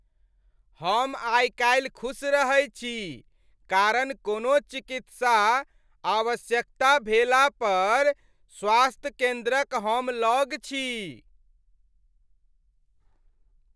हम आइ काल्हि खुस रहै छी कारण कोनो चिकित्सा आवश्यकता भेला पर स्वास्थ्य केन्द्रक हम लग छी।